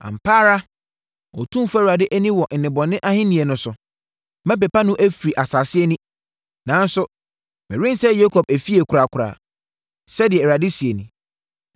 “Ampa ara Otumfoɔ Awurade ani wɔ nnebɔne ahennie no so. Mɛpepa no afiri asase ani, nanso, merensɛe Yakob efie korakora,” sɛdeɛ Awurade seɛ nie.